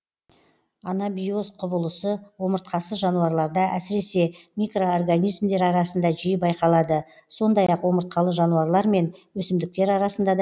анабиоз құбылысы омыртқасыз жануарларда әсіресе микроорганизмдер арасында жиі байқалады сондай ақ омыртқалы жануарлар мен өсімдіктер арасында да